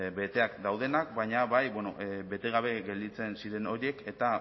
beteak daudenak baina bai bete gabe gelditzen ziren horiek eta